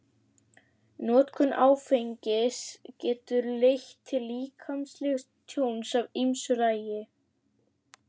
Notkun áfengis getur leitt til líkamlegs tjóns af ýmsu tagi.